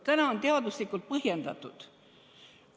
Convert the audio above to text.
Täna on see teaduslikult põhjendatud.